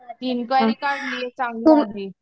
inquiry काढली चांगलं आहे